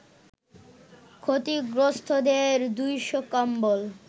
ক্ষতিগ্রস্তদের ২শ কম্বল